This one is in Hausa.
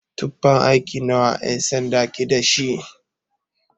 Tufan aiki nawa ƴan-sanda ke dashi?